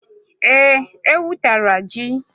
Ee, ewu tara ji.